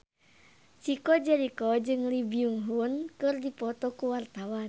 Chico Jericho jeung Lee Byung Hun keur dipoto ku wartawan